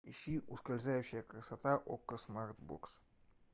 ищи ускользающая красота окко смарт бокс